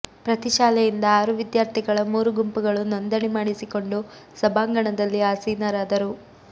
ಪ್ರತಿ ಶಾಲೆಯಿಂದ ಆರು ವಿದ್ಯಾರ್ಥಿಗಳ ಮೂರು ಗುಂಪುಗಳು ನೋಂದಣಿ ಮಾಡಿಸಿಕೊಂಡು ಸಭಾಂಗಣದಲ್ಲಿ ಆಸೀನರಾದರು